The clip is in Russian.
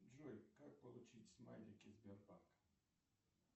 джой как получить смайлики сбербанка